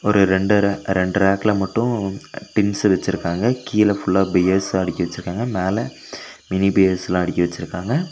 ஒரு ரெண்டு ரே ரெண்டு ரேக்ல மட்டு டின்ஸ் வச்சுருக்காங்க கீழ ஃபுல்லா பியர்ஸ் அடுக்கி வச்சுருக்காங்க மேல மினி பியர்ஸெல்லா அடுக்கி வச்சுருக்காங்க.